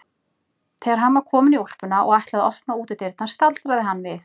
Þegar hann var kominn í úlpuna og ætlaði að opna útidyrnar staldraði hann við.